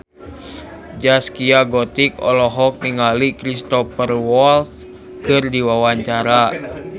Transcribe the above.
Zaskia Gotik olohok ningali Cristhoper Waltz keur diwawancara